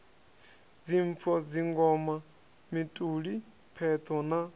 dzimpfo dzingoma mituli pheṱho na